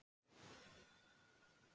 Hrá egg.